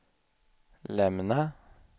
lämna